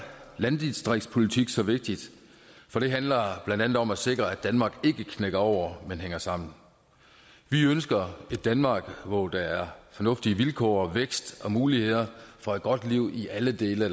landdistriktspolitik så vigtig for den handler blandt andet om at sikre at danmark ikke knækker over men hænger sammen vi ønsker et danmark hvor der er fornuftige vilkår og vækst og muligheder for et godt liv i alle dele